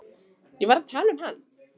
Ég var að tala um hann.